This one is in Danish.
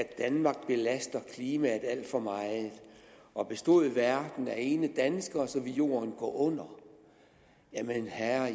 at danmark belaster klimaet alt for meget og bestod verden af ene danskere ville jorden gå under jamen herre